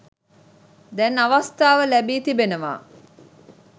දැන් අවස්ථාව ලැබී තිබෙනවා.